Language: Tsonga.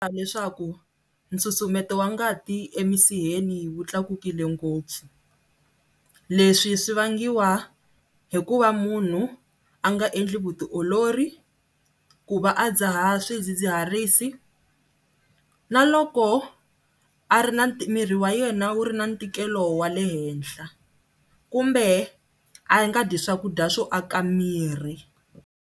Leswaku nsusumeto wa ngati emisiheni wu tlakukile ngopfu, leswi swi vangiwa hikuva munhu a nga endli vutiolori, ku va a dzaha swidzidziharisi na loko a ri na miri wa yena wu ri na ntikelo wa le henhla kumbe a nga dyi swakudya swo aka miri.